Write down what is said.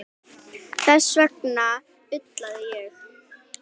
Þess vegna ullaði ég.